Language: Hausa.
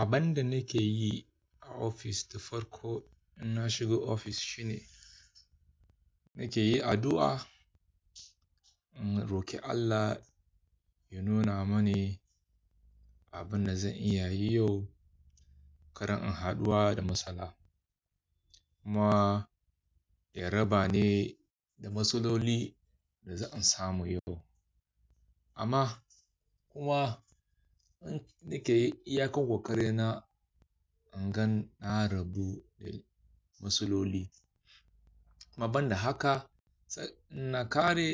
Abinda nake yi a ofis da farko in na shiga ofis shine nake yi addu'a. In roki Allah ya nuna mani abin da zan iya yi yau, karan in haɗuwa da masala. Kuma ya raba ni da matsaloli da zan samu yau. Amma kuma nake iya kan kokari na, in gan na rabu da matsaloli. Amma ban da haka, na ƙare